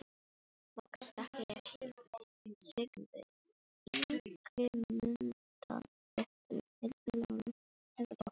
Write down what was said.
Loks þakka ég þeim Sigþrúði Ingimundardóttur, Helgu Láru Helgadóttur